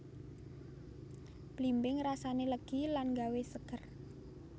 Blimbing rasané legi lan nggawé seger